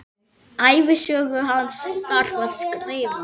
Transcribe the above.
Ævisögu hans þarf að skrifa.